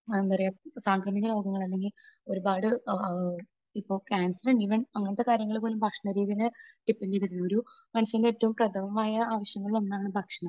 എന്താ പറയുക സാംക്രമികരോഗങ്ങൾ അല്ലെങ്കിൽ ഒരുപാട് ഇപ്പോൾ ക്യാൻസർ ഈവൻ അങ്ങനത്തെ കാര്യങ്ങൾ പോലും ഭക്ഷണ രീതിയുടെ ഒരു, മനുഷ്യന്റെ ഏറ്റവും പ്രഥമമായ ആവശ്യങ്ങളിലൊന്നാണ് ഭക്ഷണം